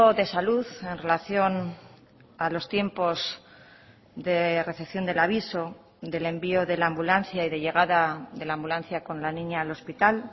de salud en relación a los tiempos de recepción del aviso del envío de la ambulancia y de llegada de la ambulancia con la niña al hospital